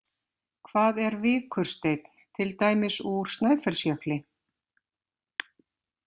Hvað er vikursteinn, til dæmis úr Snæfellsjökli?